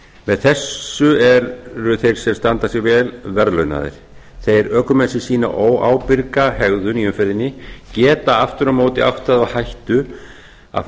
með þessu eru þeir sem standa sig vel verðlaunaðir þeir ökumenn sem sýna óábyrga hegðun í umferðinni geta aftur á móti átt það á hættu að